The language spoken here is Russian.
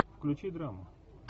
включи драму